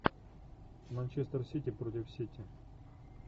манчестер сити против сити